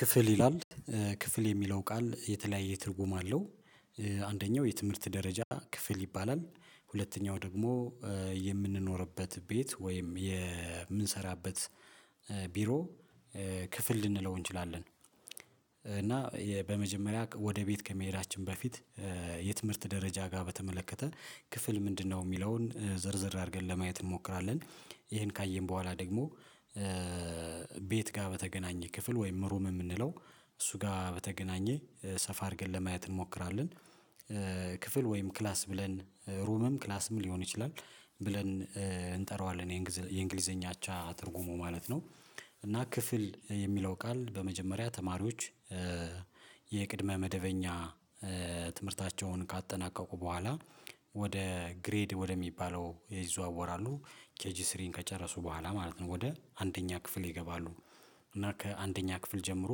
ክፍል ይላል ክፍል የሚለው ቃል የተለያየ ትርጉም አለው። አንደኛው የትምህርት ደረጃ ክፍል ይባላል። ሁለተኛው ደግሞ የምንኖርበት ቤት ወይም የምንሰራበት ቢሮ። ክፍል ልንለው እንችላለን እና በመጀመሪያ ወደ ቤት ከመሄዳችን በፊት የትምህርት ደረጃ ጋር በተመለከተ ክፍል ምንድነው የሚለውን ዝርዝር አድርገን ለማየት እንሞክራለን። ይሄን ካየን በኋላ ደግሞ ቤት ጋር በተገናኘ ክፍል ወይም ሩም የምንለው እሱ ጋር በተገናኘ ሰፋ አድርገን ለማየት እንሞክራለን። ክፍል ወይም ክላስ ብለን ሩምም ክላስም ሊሆን ይችላል ብለን እንጠራዋለን የእንግሊዘኛ አቻ አትርጉሙ ማለት ነው። እና ክፍል የሚለው ቃል በመጀመሪያ ተማሪዎች የቅድመ መደበኛ ትምህርታቸውን ካጠናቀቁ በኋላ ወደ ግሬድ ወደሚባለው ይዘዋወራሉ። ኬጂ ስሪን ከጨረሱ በኋላ ማለት ነው ወደ አንደኛ ክፍል ይገባሉ። እና ከአንደኛ ክፍል ጀምሮ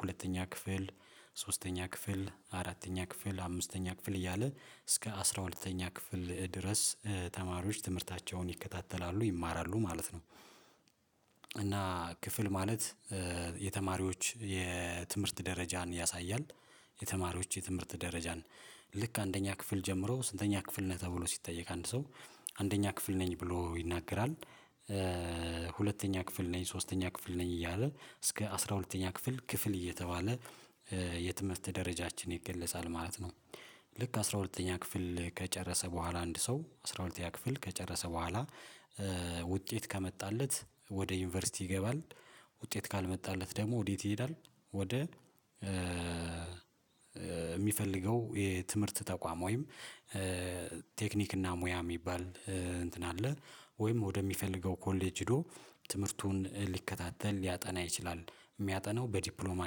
ሁለተኛ ክፍል ሶስተኛ ክፍል አራተኛ ክፍል አምስተኛ ክፍል እያለ እስከ አስራ ሁለተኛ ክፍል ድረስ ተማሪዎች ትምህርታቸውን ይከታተላሉ ይማራሉ ማለት ነው። እና ክፍል ማለት የተማሪዎች የትምህርት ደረጃን ያሳያል። የተማሪዎች የትምህርት ደረጃን ልክ አንደኛ ክፍል ጀምሮ ስንተኛ ክፍል ነህ ተብሎ ሲጠየቅ አንድ ሰው አንደኛ ክፍል ነኝ ብሎ ይናገራል። ሁለተኛ ክፍል ነኝ ሶስተኛ ክፍል ነኝ እያለ እስከ አስራ ሁለተኛ ክፍል ክፍል እየተባለ የትምህርት ደረጃችን ይገለጻል ማለት ነው። ልክ አስራ ሁለተኛ ክፍል ከጨረሰ በኋላ አንድ ሰው አስራ ሁለተኛ ክፍል ከጨረሰ በኋላ ውጤት ከመጣለት ወደ ዩኒቨርሲቲ ይገባል። ውጤት ካልመጣለት ደግሞ ወዴት ይሄዳል? ወደ የሚፈልገው የትምህርት ተቋም ወይም ቴክኒክ እና ሙያ የሚባል እንትን አለ። ወይም ወደሚፈልገው ኮሌጅ ሄዶ ትምህርቱን ሊከታተል ሊያጠና ይችላል። የሚያጠናው በዲፕሎማ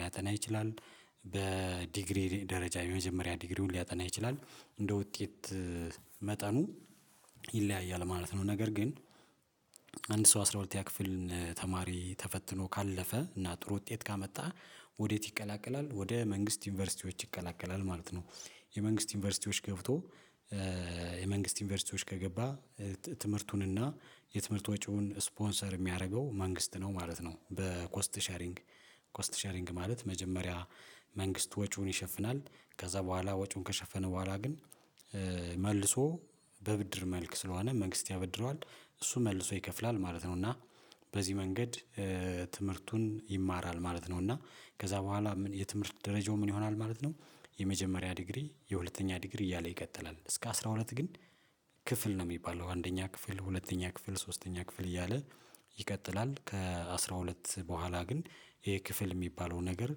ሊያጠና ይችላል። በዲግሪ ደረጃ የመጀመሪያ ዲግሪውን ሊያጠና ይችላል እንደ ውጤት መጠኑ ይለያያል ማለት ነው። ነገር ግን አንድ ሰው አስራ ሁለተኛ ክፍልን ተማሪ ተፈትኖ ካለፈ እና ጥሩ ውጤት ካመጣህ ወዴት ይቀላቀላል ወደ መንግስት ዩኒቨርሲቲዎች ይቀላቀላል ማለት ነው። የመንግስት ዩኒቨርሲቲዎች ገብቶ የመንግስት ዩኒቨርሲቲዎች ከገባ ትምህርቱን የትምህርት ወጪውን ስፖንሰር የሚያደርገው መንግስት ነው ማለት ነው። በኮስት ሼሪንግ ኮስት ሼሪንግ ማለት መጀመሪያ መንግስት ወጪውን ይሸፍናል ከዛ በኋላ ወጪውን ከሸፈነ በኋላ ግን መልሶ በብድር መልክ ስለሆነ መንግስት ያበድረዋል። እሱ መልሶ ይከፍላል ማለት ነው። እና በዚህ መንገድ ትምህርቱን ይማራል ማለት ነው። እና ከዛ በኋላ የትምህርት ደረጃው ምን ይሆናል ማለት ነው። የመጀመሪያ ዲግሪ የሁለተኛ ዲግሪ እያለ ይቀጥላል እስከ አስራ ሁለት ግን ክፍል ነው የሚባለው አንደኛ ክፍል ሁለተኛ ክፍል ሶስተኛ ክፍል እያለ ይቀጥላል ከአሥራ ሁለት በኋላ ግን ይሄ ክፍል የሚባለው ነገር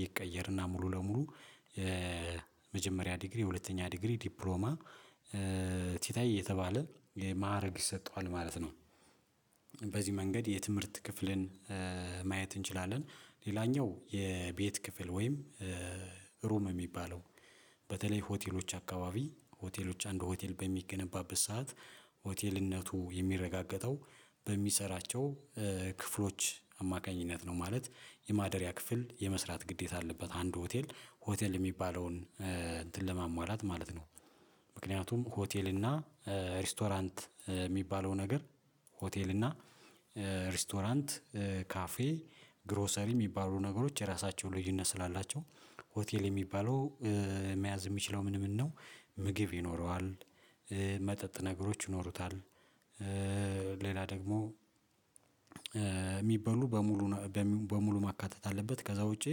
ይቀየርና ሙሉ ለሙሉ የመጀመሪያ ዲግሪ የሁለተኛ ዲግሪ ዲፕሎማ ቲታይ እየተባለ የማዕረግ ይሰጠዋል ማለት ነው። በዚህ መንገድ የትምህርት ክፍልን ማየት እንችላለን። ሌላኛው የቤት ክፍል ወይም ሩም በተለይ ሆቴሎች አካባቢ ሆቴሎች አንዱ ሆቴል በሚገነባበት ሰዓት ሆቴልነቱ የሚረጋገጠው በሚሰራቸው ክፍሎች አማካኝነት ነው። ማለት የማደሪያ ክፍል የመስራት ግዴታ አለበት አንድ ሆቴል ሆቴል የሚባለውን እንትን ለማሟላት ማለት ነው። ምክንያቱም ሆቴል እና ሬስቶራንት የሚባለው ነገር ሆቴል እና ሬስቶራንት ካፌ ግሮሰሪ የሚባሉ ነገሮች የራሳቸው ልዩነት ስላላቸው ሆቴል የሚባለው መያዝ የሚችለው ምን ምን ነው? ምግብ ይኖረዋል መጠጥ ነገሮች ይኖሩታል። ሌላ ደግሞ የሚበሉ በሙሉ በሙሉ ማካተት አለበት ከዛ ውጪ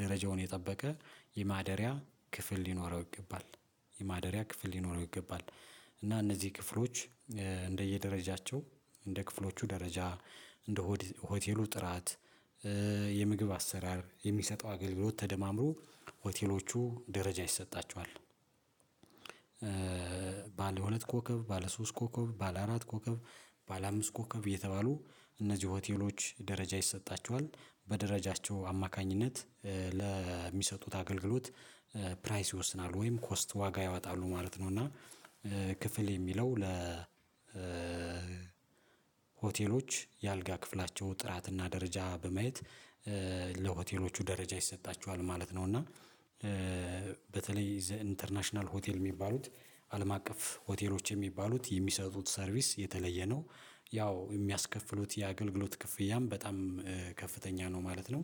ደረጃውን የጠበቀ የማደሪያ ክፍል ሊኖረው ይገባል። የማደሪያ ክፍል ሊኖረው ይገባል። እና እነዚህ ክፍሎች እንደየደረጃቸው እንደ ክፍሎቹ ደረጃ እንደ ሆቴሉ ጥራት የምግብ አሰራር የሚሰጠው አገልግሎት ተደማምሮ ሆቴሎቹ ደረጃ ይሰጣቸዋል። ባለ ሁለት ኮከብ ባለ ሶስት ኮከብ ባለ አራት ኮከብ ባለአምስት ኮከብ እየተባሉ እነዚህ ሆቴሎች ደረጃ ይሰጣቸዋል። በደረጃቸው አማካኝነት ለሚሰጡት አገልግሎት ፕራይስ ይወስናሉ ወይም ኮስት ዋጋ ያወጣሉ ማለት ነው። እና ክፍል የሚለው ለ ሆቴሎች የአልጋ ክፍላቸው ጥራትና ደረጃ በማየት ለሆቴሎቹ ደረጃ ይሰጣቸዋል ማለት ነው። እና በተለይ ዘ ኢንተርናሽናል ሆቴል የሚባሉት አለም አቀፍ ሆቴሎች የሚባሉት የሚሰጡት ሰርቪስ የተለየ ነው። ያው የሚያስከፍሉት የአገልግሎት ክፍያም በጣም ከፍተኛ ነው ማለት ነው